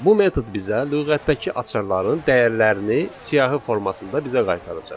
Bu metod bizə lüğətdəki açarların dəyərlərini siyahı formasında bizə qaytaracaq.